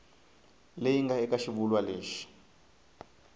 leyi nga eka xivulwa lexi